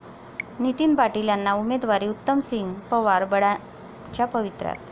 नितीन पाटील यांना उमेदवारी, उत्तमसिंग पवार बंडाच्या पवित्र्यात